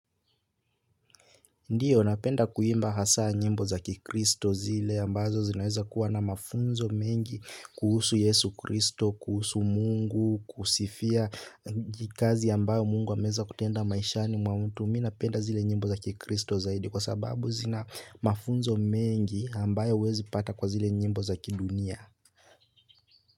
Ndiyo, napenda kuimba hasa nyimbo za kikristo zile ambazo zinaweza kuwa na mafunzo mengi kuhusu yesu kristo, kuhusu mungu, kusifia kazi ambayo mungu ameweza kutenda maishani mwa mtu. Mimi napenda zile nyimbo za kikristo zaidi kwa sababu zina mafunzo mengi ambayo huwezi pata kwa zile nyimbo za kidunia.